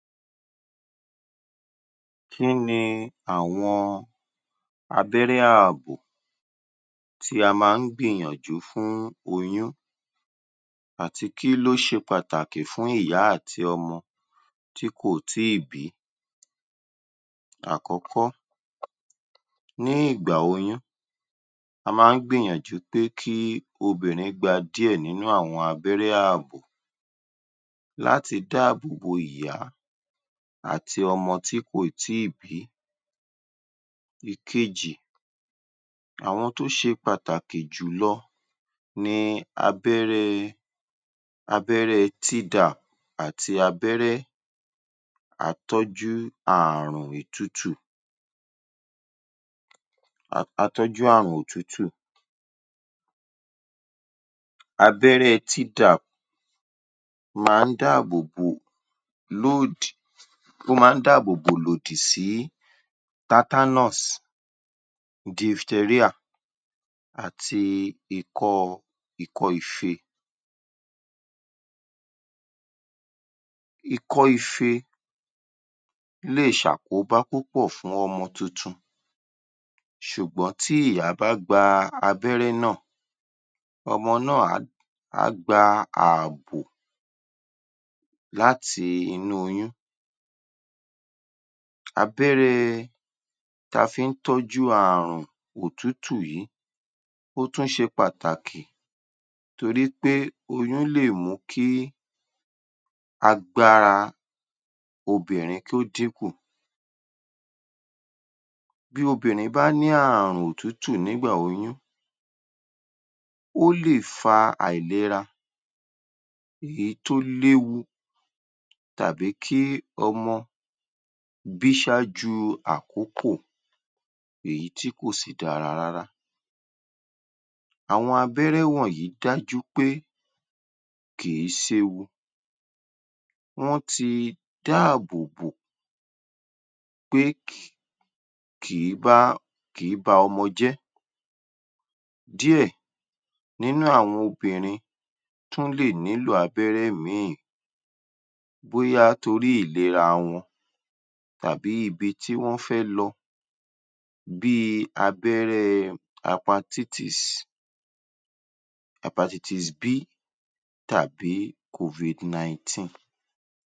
Kí ni àwọn abẹ́rẹ́ ààbò tí a máa ń gbìyànjú fún oyún àti kí ló ṣe pàtaàkì fún ìyá àti ọmọ tí kò tí ì bí? Àkọ́kọ́, ní ìgbà oyún a máa ń gbìyànjú pé kí obìnrin gba díẹ̀ nínú àwọn abẹ́rẹ́ ààbò láti dáàbobo ìyá àti ọmọ tí kò ì tíì bí. Ìkejì, àwọn tó ṣe pàtàkì jù lọ ni abẹ́rẹ́ abẹ́rẹ́ tdap àti abẹ́rẹ́ atọ́jú ààrùn ìtutù atọ́jú ààrùn òtútù, abẹ́rẹ́ tdap máa ń dáàbòbo um ó máa ń dáàbòbò ìlòdì sí tatanus, diphteria àti ikọ́ ikọ́ ife. Ikọ́ ife lè ṣàkóbá púpọ̀ fún ọmọ tuntun ṣùgbọ́n tí ìyá bá gba abẹ́rẹ́ náà, ọmọ náà á um á gba ààbò láti inú oyún. Abẹ́rẹ ta fi ń tọ́jú ààrùn òtútù yìí ó tún ṣe pàtàkì torí pé oyún lè mú kí agbára obìnrin kí ó dín kù. Bí obìnrin bá ní ààrùn òtútù nígbà oyún, ó lè fa àìlera èyí tó léwu tàbí kí ọmọ bí ṣááju àkókò èyí tí kò sì dára rárá. Àwọn abẹ́rẹ́ wọ̀nyí dájú pé kì í séwu, wọ́n ti dáàbòbò pé um kì í bá kì í ba ọmọ jẹ́ díẹ̀ nínú àwọn obìnrin tún lè nílò abẹ́rẹ́ míì bóyá torí ìlera wọn tàbí ibi tí wọ́n fẹ́ lọ bí i abẹ́rẹ́ hepatitis hepatitis B tàbí covid nineteen.